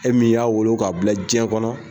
E min y'a wolo k'a bila jɛn kɔnɔ